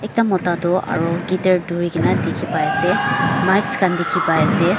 ekta mota tu aru guitar thori ke na dikhi pai ase mics khan dikhi pai ase.